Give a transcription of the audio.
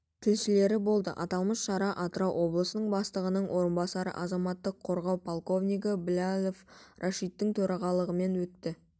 тілшілері болды аталмыш шара атырау облысының бастығының орынбасары азаматтық қорғау подполковнигі блялов рашидтың төрағалығымен өтті